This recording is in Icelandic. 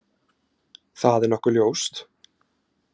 Það er nokkuð ljóst.